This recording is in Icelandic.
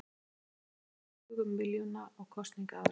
Flokkarnir töpuðu tugum milljóna á kosningaári